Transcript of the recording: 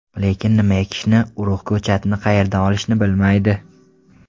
Lekin nima ekishni, urug‘, ko‘chatni qayerdan olishni bilmaydi.